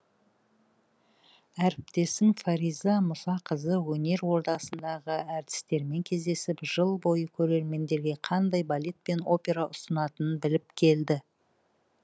әріптесім фариза мұсақызы өнер ордасындағы әртістермен кездесіп жыл бойы көрермендерге қандай балет пен опера ұсынатынын біліп келді